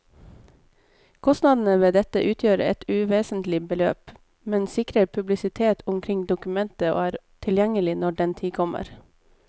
Kostnadene ved dette utgjør et uvesentlig beløp, men sikrer publisitet omkring dokumentet og er tilgjengelig når den tid kommer.